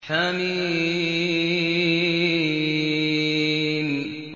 حم